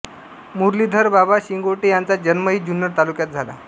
मुरलीधर बाबा शिंगोटे यांचा जन्मही जुन्नर तालुक्यात झाला